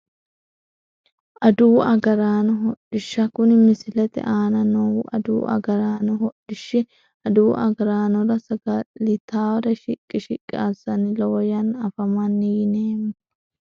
Aduwu agaraano hodhishsha kuni misilete Ana noohu adawu agaraano hodhishi aduwu agaraanora saga`litawore shiqi shiqi asani lowo yanna afamani yineemo.